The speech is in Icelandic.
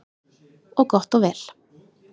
Og gott og vel.